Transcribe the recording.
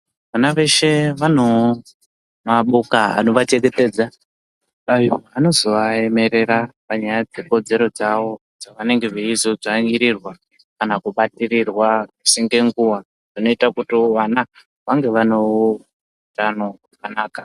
Vana veshe vanoo maboka anovachengetedza ayo anozovaemerera panyaya dzekodzero dzavo dzavanenge veizodzvanyirirwa kana kubatirirwa misi ngenguwa zvinoita kuti vana vang vanewo utano wakanaka.